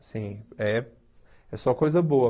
Assim, é é só coisa boa.